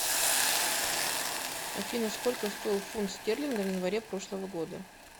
афина сколько стоил фунт стерлинга в январе прошлого года